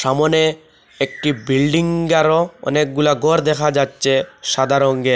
সামোনে একটি বিল্ডিং আর অনেকগুলা ঘর দেখা যাচ্ছে সাদা রংয়ের।